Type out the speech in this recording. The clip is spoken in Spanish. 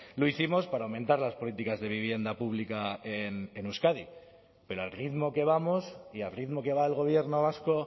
lo hicimos para aumentar las políticas de vivienda pública en euskadi pero al ritmo que vamos y al ritmo que va el gobierno vasco